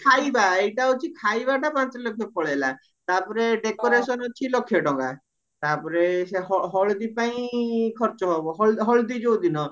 ଖାଇବା ଏଇଟା ହଉଚି ଖାଇବା ଟା ପାଞ୍ଚ ଲକ୍ଷ ପଳେଇଲା ତାପରେ decoration ଅଛି ଲକ୍ଷ ଟଙ୍କା ତାପରେ ସେ ହଳଦୀ ପାଇଁ ଖର୍ଚ ହବ ହଳଦୀ ଯୋଉଦିନ